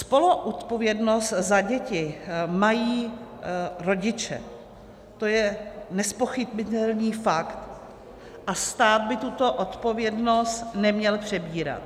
Spoluodpovědnost za děti mají rodiče, to je nezpochybnitelný fakt a stát by tuto odpovědnost neměl přebírat.